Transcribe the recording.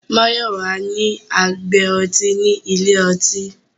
Mayọwa ni agbé ọ̀tí ní ilẹ̀-ọ̀tí